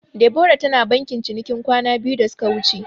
Debora tana bankin cinikin kwana biyu da suka wuce.